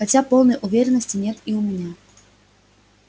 хотя полной уверенности нет и у меня